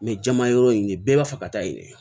jama yɔrɔ in de bɛɛ b'a fɛ ka taa yɛlɛ